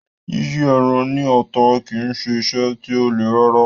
Yíyí ẹran ní ata kì í ṣe iṣẹ́ tí ó le rárá.